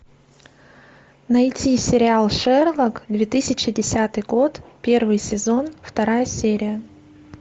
найти сериал шерлок две тысячи десятый год первый сезон вторая серия